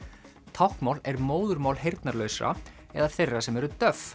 táknmál er móðurmál heyrnarlausra eða þeirra sem eru